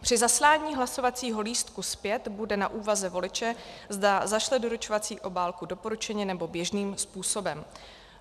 Při zaslání hlasovacího lístků zpět bude na úvaze voliče, zda zašle doručovací obálku doporučeně, nebo běžným způsobem.